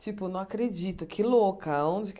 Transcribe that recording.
Tipo, não acredito, que louca. Onde que